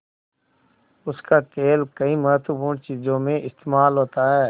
उसका तेल कई महत्वपूर्ण चीज़ों में इस्तेमाल होता है